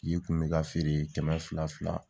yi kun bɛ ka feere kɛmɛ fila fila.